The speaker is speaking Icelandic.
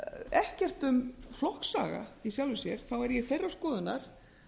ekkert um flokksaga í sjálfu sér þá er ég þeirrar skoðunar